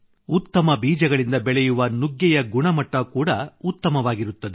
ಉತ್ತಮ ಬೀಜಗಳಿಂದ ಬೆಳೆಯುವ ನುಗ್ಗೆಯ ಗುಣಮಟ್ಟ ಕೂಡಾ ಉತ್ತಮವಾಗಿರುತ್ತದೆ